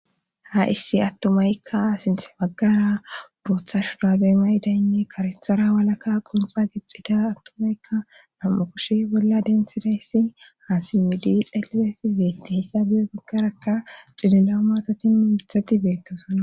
Ha issi attumaykka sinte baggara booththa shudaabe maydaynne karethara walaka qonxa gixxida attumaykka nam'u koshe bolla densidayssi ha simmidi xellidaysi beetti hessabiyo baggarakka cililao maatatinne mithati beettosana.